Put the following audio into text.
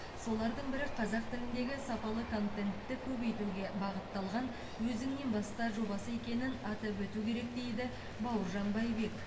солардың бірі қазақ тіліндегі сапалы контентті көбейтуге бағытталған өзіңнен баста жобасы екенін атап өту керек дейді бауыржан байбек